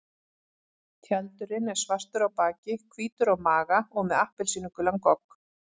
Tjaldurinn er svartur á baki, hvítur á maga og með appelsínugulan gogg.